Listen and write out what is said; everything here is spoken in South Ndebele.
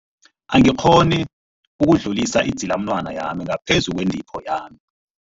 Angikghoni ukudlulisa idzilamunwana yami ngaphezu kwentipho yami.